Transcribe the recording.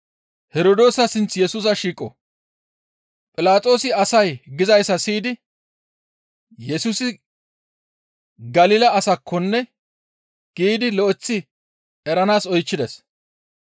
Philaxoosi asay gizayssa siyidi, «Yesusi Galila asakkonne» giidi lo7eththi eranaas oychchides.